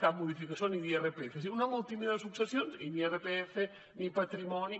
cap modificació ni d’irpf és a dir una de molt tímida de successions i ni irpf ni patrimoni